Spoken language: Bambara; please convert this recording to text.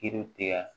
Kiri tigɛ